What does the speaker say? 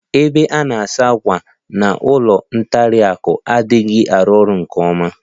Ebe a na-asa ákwà n'ụlọ nkwari akụ adịghị arụ ọrụ nke ọma.